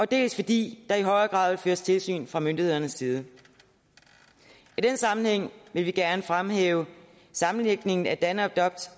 dels fordi der i højere grad vil føres tilsyn fra myndighedernes side i den sammenhæng vil vi gerne fremhæve sammenlægningen af danadopt